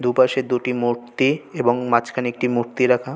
দু পাশে একটি মূর্তি এবং মাঝখানে একটি মূর্তি রাখা।